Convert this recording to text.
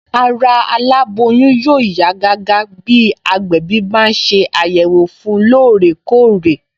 Ara aláboyún yóò yá gágá bí agbẹ̀bí bá ń ṣe àyẹ̀wò fun lóòrè kóòrè